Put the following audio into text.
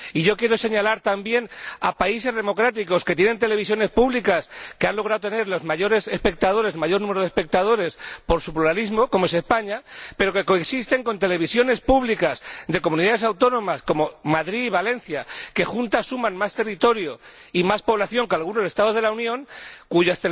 Quiero señalar también a países democráticos que tienen televisiones públicas que han logrado tener el mayor número de espectadores por su pluralismo como es España pero que coexisten con televisiones públicas de comunidades autónomas como Madrid, Valencia, que juntas suman más territorio y más población que algunos Estados de la Unión que